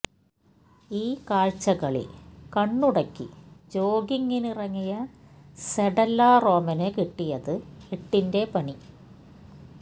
ഈ കാഴ്ചകളിൽ കണ്ണുടക്കി ജോഗിംഗിനിറങ്ങിയ സെഡല്ല റോമന് കിട്ടിയത് എട്ടിന്റെ പണി